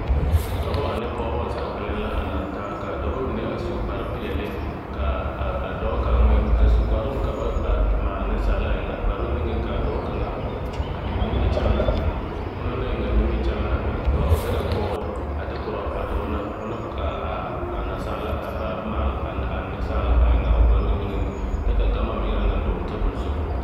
Dɔbɔ ane pɔgbɔ zaa kpɛlɛm la a laŋ taa kaa dɔbɔ mine a su kparrepeɛli kaa a dɔɔ kaŋ meŋ a su kparoŋ ka ba maale neŋsaala a kparoŋ niŋeŋ kaa dɔɔ kaŋa a eŋ nimikyaan onoŋ naŋ eŋaa nimikyaan na ka o derɛ bɔɔl a de korɔ a dɔɔ na ona kaa a naasaalaa a ba maale a neŋsaala eŋaa a o kparoŋ niŋeŋ na kyɛ ka gama meŋ a naŋ dɔgle tabol zu.